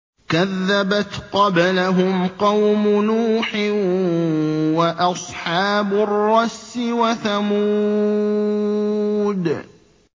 كَذَّبَتْ قَبْلَهُمْ قَوْمُ نُوحٍ وَأَصْحَابُ الرَّسِّ وَثَمُودُ